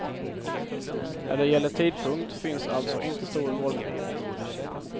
När det gäller tidpunkt finns alltså inte stor valfrihet.